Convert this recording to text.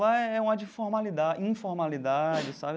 Lá é um ar de formalidade, informalidade sabe.